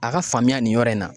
A ka faamuya nin yɔrɔ in na